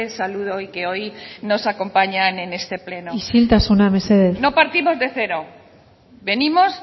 saludo y que hoy nos acompañan en este pleno isiltasuna mesedez no partimos de cero venimos